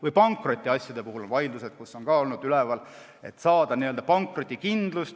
Või pankrotiasjade vaidlused, et saada tehingule n-ö pankrotikindlust.